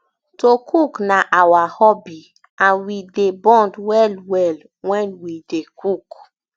to cook na our hobby and we dey bond wellwell wen um we dey cook